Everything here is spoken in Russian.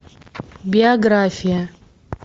биография